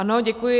Ano, děkuji.